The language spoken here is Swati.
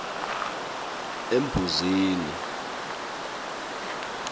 embuzini